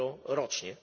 euro rocznie.